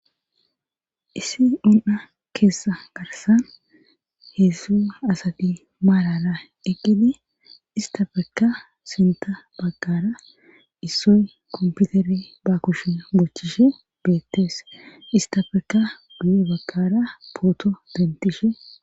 Issi un7a keessa garsan heessu asati maalala eqgidi istafekka sinta baggara issoy komputeri ba kushe bochishe beettees istafeka guye baggara pooto dentishe..